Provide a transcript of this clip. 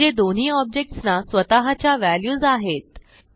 म्हणजे दोन्ही ऑब्जेक्ट्स ना स्वतःच्या व्हॅल्यूज आहेत